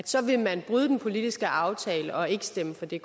så vil man bryde den politiske aftale og ikke stemme for det